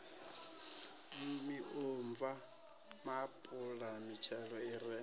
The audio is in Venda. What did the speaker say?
miomva maapula mitshelo i re